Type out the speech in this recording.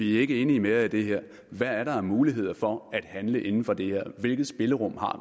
ikke enige med jer i det her hvad er der af muligheder for at handle inden for det her hvilket spillerum har